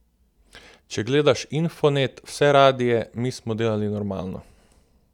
Če gledaš Infonet, vse radie, mi smo delali normalno.